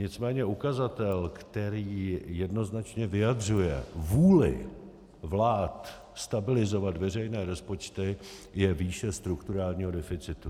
Nicméně ukazatel, který jednoznačně vyjadřuje vůli vlád stabilizovat veřejné rozpočty, je výše strukturálního deficitu.